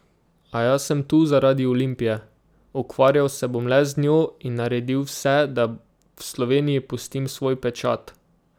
A jaz sem tu zaradi Olimpije, ukvarjal sem bom le z njo in naredil vse, da v Sloveniji pustim svoj pečat.